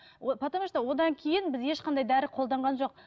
о потому что одан кейін біз ешқандай дәрі қолданған жоқ